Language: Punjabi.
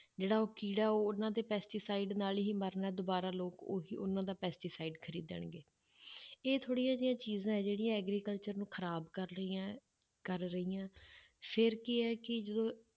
ਜਿਹੜਾ ਉਹ ਕੀੜਾ ਉਹਨਾਂ ਦੇ pesticide ਨਾਲ ਹੀ ਮਰਨਾ, ਦੁਬਾਰਾ ਲੋਕ ਉਹੀ ਉਹਨਾਂ ਦਾ pesticide ਖ਼ਰੀਦਣਗੇ ਇਹ ਥੋੜ੍ਹੀਆਂ ਜਿਹੀਆਂ ਚੀਜ਼ਾਂ ਹੈ ਜਿਹੜੀਆਂ agriculture ਨੂੰ ਖ਼ਰਾਬ ਕਰ ਰਹੀਆਂ ਹੈ, ਕਰ ਰਹੀਆਂ, ਫਿਰ ਕੀ ਹੈ ਕਿ ਜਦੋਂ